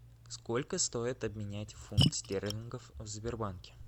сколько стоит обменять фунт стерлингов в сбербанке